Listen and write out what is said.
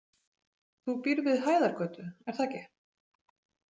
Þú býrð við Hæðargötu, er það ekki?